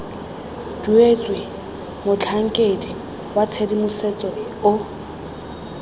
duetswe motlhankedi wa tshedimosetso o